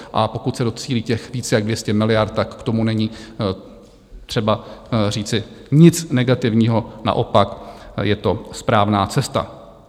A pokud se docílí těch víc jak 200 miliard, tak k tomu není třeba říci nic negativního, naopak, je to správná cesta.